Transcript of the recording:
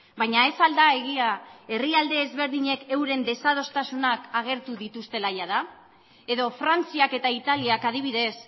baina ez al da egia herrialde ezberdinek euren desadostasunak agertu dituztela jada edo frantziak eta italiak adibidez